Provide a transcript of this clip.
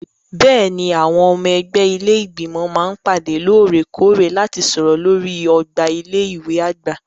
Bẹ́ẹ̀ni, àwọn ọmọ ẹgbẹ́ ilé Ìgbìmọ̀ máa ń pàdé lóòrè-kóòrè láti sọ̀rọ̀ lórí ọgbà ilé ìwé àgbà.